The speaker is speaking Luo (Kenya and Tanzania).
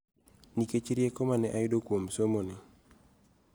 Nikech rieko ma ne ayudo kuom somoni.